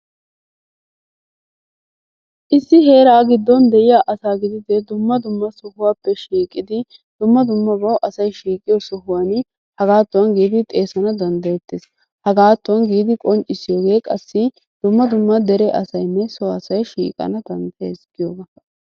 Issi heeraa giddon de'iyaa asaa gidide dumma dumma sohuwappe shiiqidi dumma dummabawu asay shiiqiyo sohuwan hagaatuwan giidi xeesana danddayettees. Hagaattuwan giidi qonccissiyogee qassi dumma dumma dere asaynne so asay shiiqana danddayees giyoogaa.